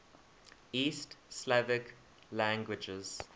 east slavic languages